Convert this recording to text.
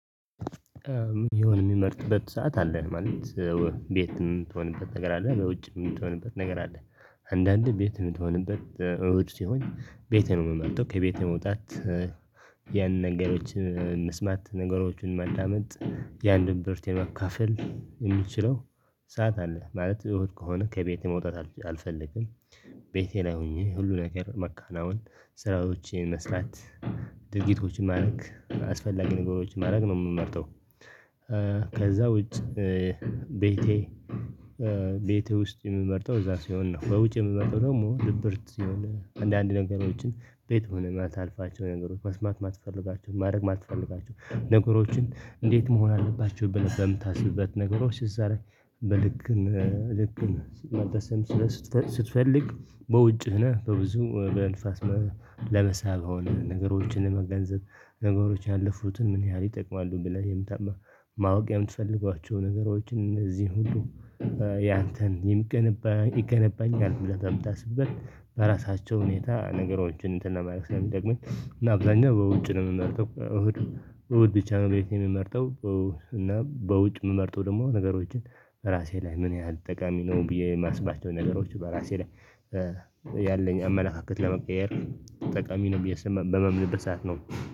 የሆነ የሚመርጥበት ሰዓት አለን ማለት። ቤት የምትሆንበት ነገር ከዛ ወጪ የምትሆንበት ነገር አለ። አንዳንድ ቤት የምትሆንበት እሁድ ሲሆን ቤት ነው የምትመጡት ከቤት መውጣት። ያን ነገሮችን መስማት ነገሮችን ማዳመጥ የአንድን ብርት የመካፈል የሚችለው። ሰዓት አለ ማለት እውነት ከሆነ ከቤቴ መውጣት አልፈልግም። ቤቴ ላይ ሆኜ ሁሉ ነገር መካናውን ስራዎችን መስራት ድርጊቶችን ማድረግ አስፈላጊ ነገሮችን ማድረግ ነው የምመርጠው። ከዛ ውጭ ቤቴ ቤቴ ውስጥ የምመርጠው እዛ ሲሆን ነው። በውጭ የምትመጡ ደግሞ ድብርት ሲሆን አንዳንድ ነገሮችን ቤት ሆነና ልታልፋቸው ነገሮች መስማት ማትፈልጋቸው ማድረግ ማትፈልጋቸው ነገሮችን እንዴት መሆን አለባቸው ብለህ በምታስብበት ነገሮች እዛ ላይ። በልክ ልክ መታሰብ ስትፈልግ በውጭህ በብዙ በንፋስ ለመሳብ ሆነ ነገሮችን ለመገንዘብ ነገሮች ያለፉትን ምን ያህል ይጠቅማሉ ብለህ የምታማ ማወቅ የምትፈልጓቸው ነገሮችን እዚህን ሁሉ። ያንተን ይገነባኛል ብለህ ተምታ ስትበል በራሳቸው ሁኔታ ነገሮችን እንትን ለማለቅ ሰው ደግሞኝ እና ብዙሃን በውጭ ነው የምመርጠው። እሁዱ በውጭ ቻናል ቤት የሚመርጠው እና በውጭ የምመርጠው ደግሞ ነገሮችን ራሴ ላይ ምን ያህል ጠቃሚ ነው ብዬ የማስባቸው ነገሮች በራሴ ላይ ያለኝ አመላካከት ለመቀየር ጠቃሚ ነው ብዬ በማምንበት ሰዓት ነው